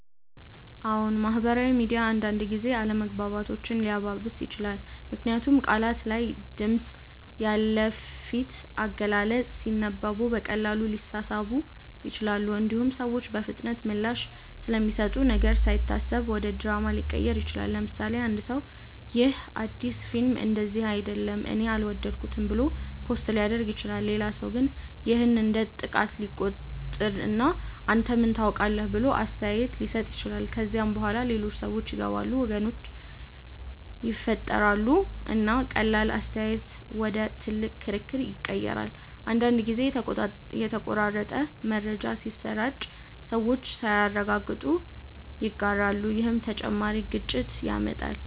አዎን፣ ማህበራዊ ሚዲያ አንዳንድ ጊዜ አለመግባባቶችን ሊያባብስ ይችላል። ምክንያቱም ቃላት ያለ ድምፅ፣ ያለ ፊት አገላለጽ ሲነበቡ በቀላሉ ሊሳሳቡ ይችላሉ። እንዲሁም ሰዎች በፍጥነት ምላሽ ስለሚሰጡ ነገር ሳይታሰብ ወደ ድራማ ሊቀየር ይችላል። ለምሳሌ፣ አንድ ሰው “ይህ አዲስ ፊልም እንደዚህ አይደለም እኔ አልወደድኩትም” ብሎ ፖስት ሊያደርግ ይችላል። ሌላ ሰው ግን ይህን እንደ ጥቃት ሊቆጥር እና “አንተ ምን ታውቃለህ?” ብሎ አስተያየት ሊሰጥ ይችላል። ከዚያ በኋላ ሌሎች ሰዎች ይገባሉ፣ ወገኖች ይፈጠራሉ፣ እና ቀላል አስተያየት ወደ ትልቅ ክርክር ይቀየራል። አንዳንድ ጊዜም የተቆራረጠ መረጃ ሲሰራጭ ሰዎች ሳያረጋግጡ ይጋራሉ፣ ይህም ተጨማሪ ግጭት ያመጣል።